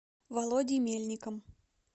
володей мельником